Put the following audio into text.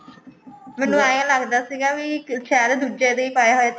ਮੈਨੂੰ ਐਂ ਲੱਗਦਾ ਸੀਗਾ ਵੀ ਸ਼ਾਇਦ ਇਹ ਦੁਜਿਆ ਦੇ ਹੀ ਪਾਇਆ ਹੋਇਆ